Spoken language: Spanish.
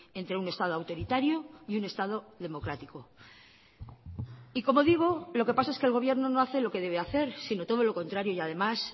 entre un estado autoritario y un estado democrático y como digo y lo que pasa es que el gobierno no hace lo que debe hacer sino todo lo contrario y además